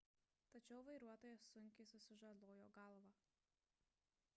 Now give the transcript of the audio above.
tačiau vairuotojas sunkiai susižalojo galvą